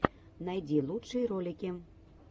найди лучшие ролики